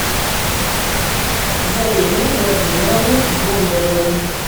зареме владимировне бондаревой